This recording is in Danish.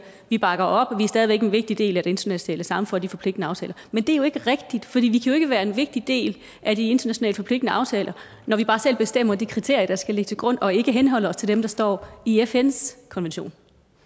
vi bakker op vi er stadig væk en vigtig del af det internationale samfund og de forpligtende aftaler men det er jo ikke rigtigt for vi kan jo ikke være en vigtig del af de internationalt forpligtende aftaler når vi bare selv bestemmer de kriterier der skal ligge til grund og ikke henholder os til dem der står i fns konvention